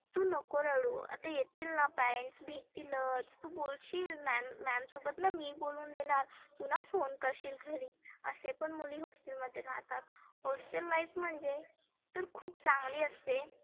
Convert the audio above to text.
तु नको रडु आता येतीलना parents भेटतीलच. बोलशील ma'am सोबत ना मी बोलुन देणार. तुना phone करशील घरी. असे पण मुली hostel मध्ये राहतात. hostel life म्हणजे तर खुप चांगली असते.